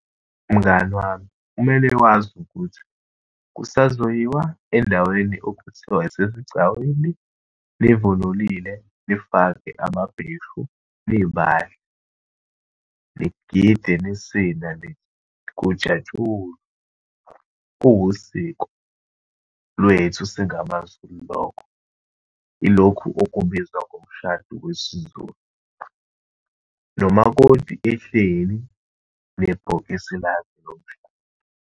Mngani wami, kumele wazi ukuthi kusazoyiwa endaweni okuthiwa yisesigcawini, nivunulile, nifake amabheshu, nibahle, nigide, nisine, kujatshulwe. Kuwusiko lwethu singamaZulu lokho. Yilokhu okubizwa ngomshado wesiZulu, nomakoti ehleli nebhokisi lakhe lomshado.